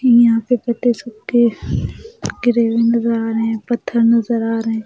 यहाँ पे पत्ते सुखे गिरे हुए नजर आ रहे हैं पत्थर नजर आ रहे हैं।